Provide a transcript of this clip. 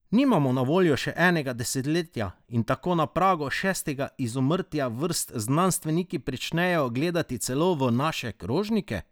Nimamo na voljo še enega desetletja in tako na pragu šestega izumrtja vrst znanstveniki pričenjajo gledati celo v naše krožnike!